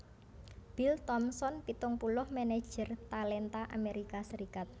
Bill Thompson pitung puluh manajer talenta Amerika Serikat